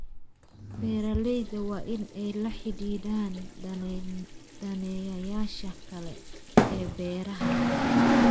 Beeralayda waa in ay la xidhiidhaan daneeyayaasha kale ee beeraha.